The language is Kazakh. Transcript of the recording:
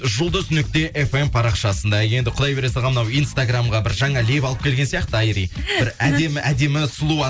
жұлдыз нүкте фм парақшасында енді құдай бере салған мынау инстаграмға бір жаңа леп алып келген сияқты айри бір әдемі әдемі сұлу